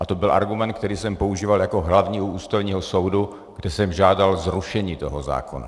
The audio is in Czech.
A to byl argument, který jsem používal jako hlavní u Ústavního soudu, kde jsem žádal zrušení toho zákona.